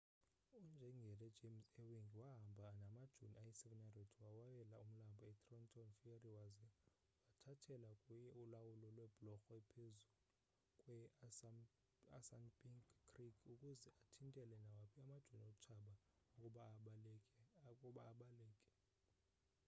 unjengele james ewing wahamba namajoni ayi-700 wawela umlambo e-trenton ferry waza wathathela kuye ulawulo lweblorho ephezu kwe-assunpink creek ukuze athintele nawaphi amajoni otshaba ukuba abaleke